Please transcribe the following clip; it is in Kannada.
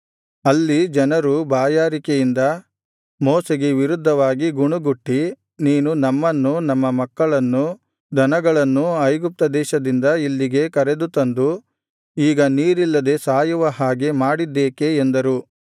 ಅಲ್ಲಿ ಜನರು ಬಾಯಾರಿಕೆಯಿಂದ ಮೋಶೆಗೆ ವಿರುದ್ಧವಾಗಿ ಗುಣುಗುಟ್ಟಿ ನೀನು ನಮ್ಮನ್ನೂ ನಮ್ಮ ಮಕ್ಕಳನ್ನೂ ದನಗಳನ್ನೂ ಐಗುಪ್ತ ದೇಶದಿಂದ ಇಲ್ಲಿಗೆ ಕರೆದುತಂದು ಈಗ ನೀರಿಲ್ಲದೆ ಸಾಯುವ ಹಾಗೆ ಮಾಡಿದ್ದೇಕೆ ಎಂದರು